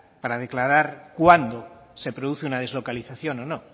para declarar cuándo se produce una deslocalización o no